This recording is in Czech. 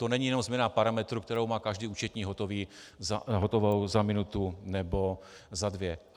To není jenom změna parametrů, kterou má každý účetní hotovou za minutu nebo za dvě.